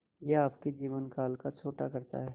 यह आपके जीवन काल को छोटा करता है